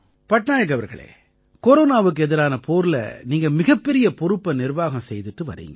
பட்நாயக் அவர்களே கொரோனாவுக்கு எதிரான போர்ல நீங்க மிகப்பெரிய பொறுப்பை நிர்வாகம் செய்திட்டு வர்றீங்க